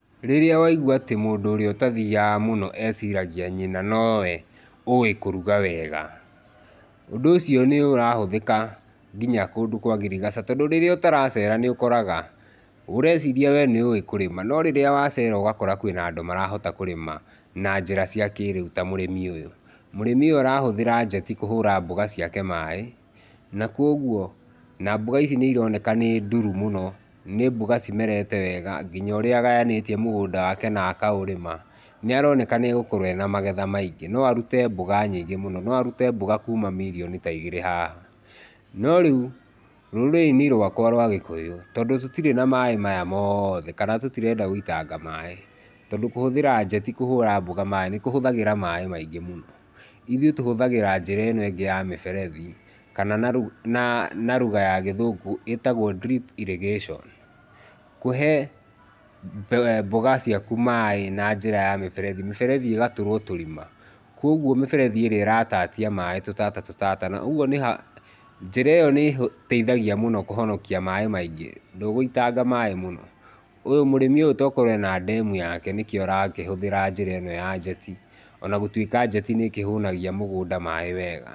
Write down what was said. Rĩrĩa waigua atĩ mũndũ ũrĩa ũtathiaga eciragia atĩ nyina nowe ũĩ kũruga wega, ũndũ ũcio nĩ ũrahũthĩka nginya kũndũ kwa ngirigaca tondũ rĩrĩa ũtaracera ũreciria nĩũĩ kũrĩma, no rĩrĩa wacera ũgakora kwĩna andũ marahota kũrĩma na njĩra cia kĩrĩu ta mũrĩmi ũyũ. Mũrĩmi ũyũ arahũthĩra njeti kũhũra mboga ciake maĩ na kũoguo, na mbũga ici nĩ ironekana nĩnduru mũno, nĩ mbũga cimerete wega, ngina ũrĩa agayanĩtie mũgũnda wake na akaũrĩma, nĩ aroneka nĩegũkwo ena magetha maingĩ, no arute mbũga nyingĩ mũno, no arute mbũga kuma mirioni ta igĩrĩ haha. No rĩu rũrĩrĩ-inĩ rwakwa rwa gĩkũyũ, tondũ tũtirĩ na maĩ maya mothe, kana tũtirenda gũitanga maĩ, tondũ kũhũtjĩra njeti kũhũra mbũga maĩ nĩ kũhũthĩraga maĩ maingĩ mũno. Ithuĩ tũhũthagĩra njĩra ĩno ĩngĩ ya mĩberethi kana na ruga ya gĩthũngũ ĩtagwo drip irrigation. Kũhe mbũga ciaku maĩ na ngĩra ya mĩberethi, mĩberethi ĩgatũrwo tũrima, kũoguo mĩberethi ĩo ĩratatia maĩ tũtata tũtata, ũguo njĩra ĩo nĩ ĩteithagia mũno kũhonokia maĩ maingĩ, ndũgũitanga maĩ mũno. Ũyũ, mũrĩmi ũyũ okorwo ena ndemu yake nĩkĩo arakĩhũthĩra njĩra ĩno ya njeti ona gũtwĩka njeti nĩkĩhũnagia mũgũnda maĩ wega.